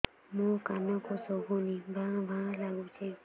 ମୋ କାନକୁ ଶୁଭୁନି ଭା ଭା ଲାଗୁଚି